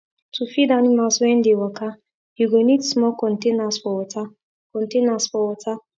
to feed animals wen dey waka you go need small containers for water containers for water